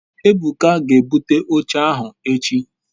ebuka ge ebute oche ahu echi